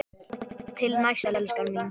Þangað til næst, elskan mín.